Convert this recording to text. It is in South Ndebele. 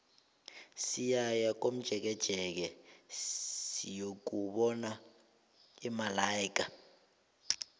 siyaya komjekejeke siyokubona imalaika